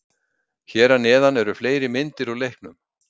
Hér að neðan eru fleiri myndir úr leiknum.